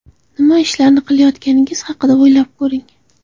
Nima ishlarni qilayotganingiz haqida o‘ylab ko‘ring!